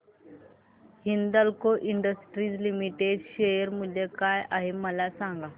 Hindalco industries limited share मूल्य काय आहे मला सांगा